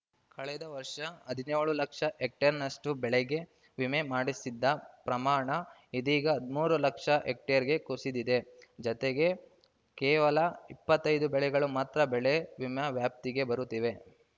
ಕಳೆದ ವರ್ಷ ಹದಿನ್ಯೋಳು ಲಕ್ಷ ಹೆಕ್ಟೇರ್‌ನಷ್ಟು ಬೆಳೆಗೆ ವಿಮೆ ಮಾಡಿಸಿದ್ದ ಪ್ರಮಾಣ ಇದೀಗ ಹದಿಮೂರು ಲಕ್ಷ ಹೆಕ್ಟೇರ್‌ಗೆ ಕುಸಿದಿದೆ ಜತೆಗೆ ಕೇವಲ ಇಪ್ಪತ್ತೈದು ಬೆಳೆಗಳು ಮಾತ್ರ ಬೆಳೆ ವಿಮೆ ವ್ಯಾಪ್ತಿಗೆ ಬರುತ್ತಿವೆ